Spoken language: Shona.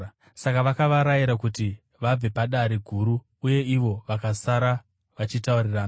Saka vakavarayira kuti vabve paDare Guru, uye ivo vakasara vachitaurirana.